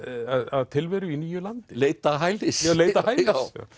að tilveru í nýju landi leita hælis leita hælis